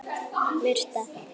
Murta